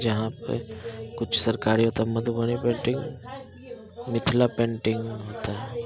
जहा पे कुछ सरकारी पेंटिंग मिथला पेंटिंग